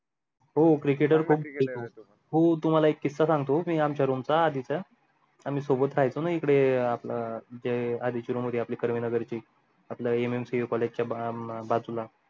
हो cricketer खूप हो तुम्हाला ला एक किसा सांगतो मी आमचा room चा आधी चा आम्ही सोबत राहायचो ना इकडे आपल ते आधीची room होती आपली कर्वे नगरची आपल mmcacollage च्या बाजूला